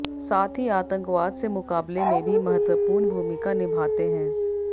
साथ ही आतंकवाद से मुकाबले में भी महत्वपूर्ण भूमिका निभाते हैं